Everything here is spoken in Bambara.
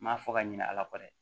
N m'a fɔ ka ɲinɛ ala kɔ dɛ